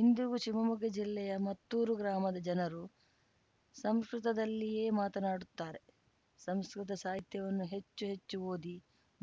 ಇಂದಿಗೂ ಶಿವಮೊಗ್ಗ ಜಿಲ್ಲೆ ಮತ್ತೂರು ಗ್ರಾಮದ ಜನರು ಸಂಸ್ಕೃತದಲ್ಲಿಯೇ ಮಾತನಾಡುತ್ತಾರೆ ಸಂಸ್ಕೃತ ಸಾಹಿತ್ಯವನ್ನು ಹೆಚ್ಚು ಹೆಚ್ಚು ಓದಿ